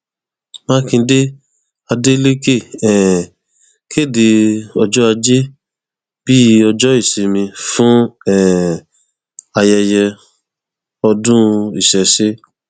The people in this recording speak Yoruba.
mákindé adélèkè um kéde ọjọ ajé bíi ọjọ ìsinmi fún um ayẹyẹ ọdún ìṣẹṣẹ